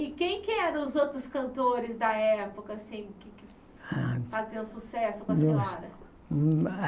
E quem que eram os outros cantores da época assim que faziam sucesso com a senhora?